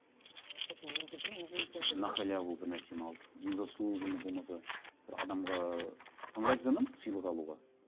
кстати мен де де неге екенін білмеймін на халяву бір нәрсені алып незаслуженно болмаса бір адамға ыыы ыңғайсызданамын сыйлық алуға